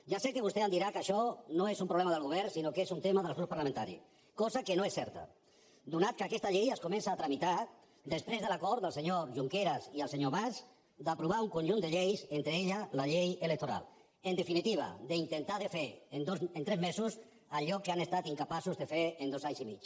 ja sé que vostè em dirà que això no és un problema del govern sinó que és un tema dels grups parlamentaris cosa que no és certa atès que aquesta llei es comença a tramitar després de l’acord del senyor junqueras i el senyor mas d’aprovar un conjunt de lleis entre elles la llei electoral en definitiva d’intentar de fer en tres mesos allò que han estat incapaços de fer en dos anys i mig